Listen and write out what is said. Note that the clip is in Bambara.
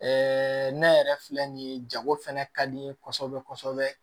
ne yɛrɛ filɛ nin ye jago fɛnɛ ka di n ye kosɛbɛ kosɛbɛ